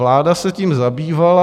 Vláda se tím zabývala.